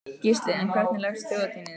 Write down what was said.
Gísli: En hvernig leggst Þjóðhátíðin í þig?